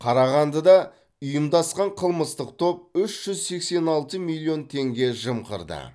қарағандыда ұйымдасқан қылмыстық топ үш жүз сексен алты миллион теңге жымқырды